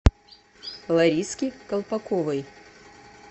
лариске колпаковой